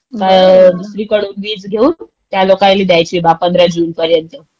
मग दुसरीकडून वीज घेऊन त्या लोकायले द्यायची बा 15 जून पर्यंत.